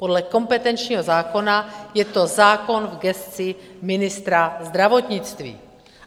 Podle kompetenčního zákona je to zákon v gesci ministra zdravotnictví.